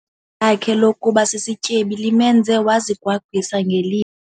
lakhe lokuba sisityebi limenze wazigwagwisa ngeli.